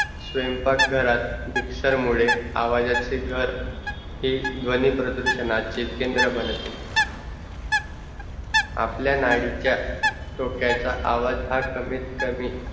स्वयंपाक घरात मिक्सर मुड़े आवाजाचे घर ही ध्वनी प्रदुर्षानाचे केंद्र बनते, आपल्या नाडीच्या थोक्याचा आवाज़ हां कामित कमी